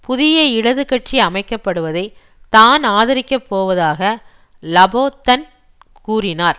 புதிய இடது கட்சி அமைக்கப்படுவதை தான் ஆதரிக்கப்போவதாக லாபொன்தன் கூறினார்